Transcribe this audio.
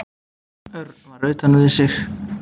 Örn var utan við sig.